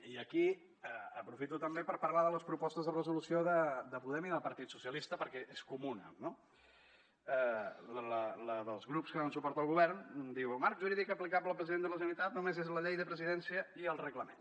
i aquí aprofito també per parlar de la proposta de resolució de podem i del partit socialistes perquè és comuna no la dels grups que donen suport al govern diu el marc jurídic aplicable a president de la generalitat només és la llei de presidència i el reglament